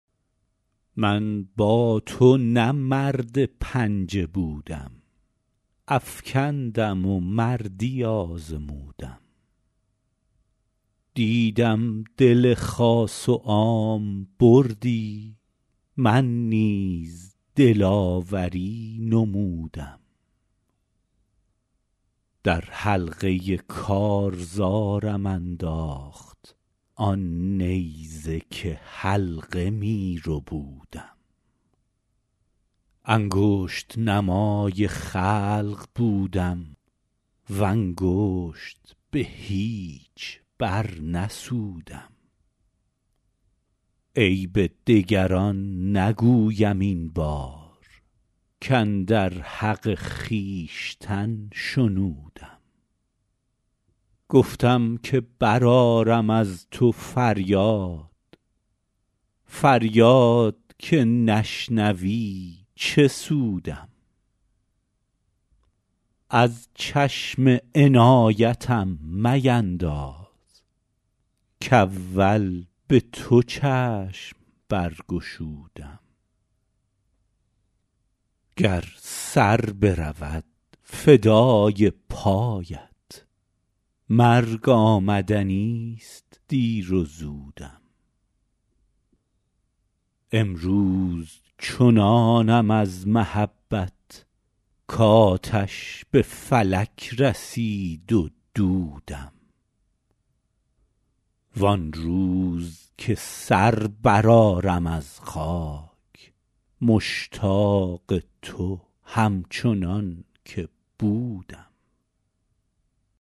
من با تو نه مرد پنجه بودم افکندم و مردی آزمودم دیدم دل خاص و عام بردی من نیز دلاوری نمودم در حلقه کارزارم انداخت آن نیزه که حلقه می ربودم انگشت نمای خلق بودم و انگشت به هیچ برنسودم عیب دگران نگویم این بار کاندر حق خویشتن شنودم گفتم که برآرم از تو فریاد فریاد که نشنوی چه سودم از چشم عنایتم مینداز کاول به تو چشم برگشودم گر سر برود فدای پایت مرگ آمدنیست دیر و زودم امروز چنانم از محبت کآتش به فلک رسید و دودم وان روز که سر برآرم از خاک مشتاق تو همچنان که بودم